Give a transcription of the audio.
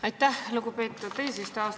Aitäh, lugupeetud eesistuja!